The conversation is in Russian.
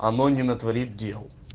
оно не натворит дел